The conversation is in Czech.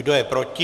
Kdo je proti?